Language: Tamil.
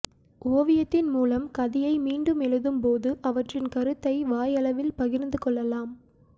ஓவியத்தின் மூலம் கதையை மீண்டும் எழுதும்போது அவற்றின் கருத்தை வாயளவில் பகிர்ந்து கொள்ளலாம்